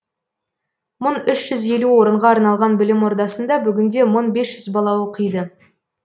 мың үш жүз елу орынға арналған білім ордасында бүгінде мың бес жүз бала оқиды